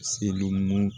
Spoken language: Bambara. Selimu